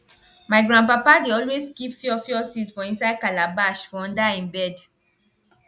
my grandpapa dey always keep fiofio seed for inside calabash for under e bed